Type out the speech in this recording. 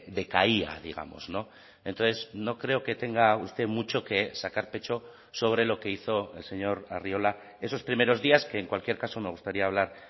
decaía digamos entonces no creo que tenga usted mucho que sacar pecho sobre lo que hizo el señor arriola esos primeros días que en cualquier caso me gustaría hablar